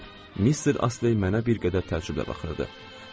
Mister Astley mənə bir qədər təəccüblə baxırdı.